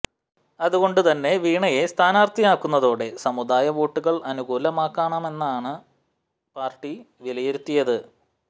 അതുകൊണ്ട് തന്നെ വീണയെ സ്ഥാനാർത്ഥിയാക്കുന്നതോടെ സമുദായ വോട്ടുകൾ അനുകൂലമാക്കാമെന്നാണ് പാർട്ടി വിലയിരുത്തിയത്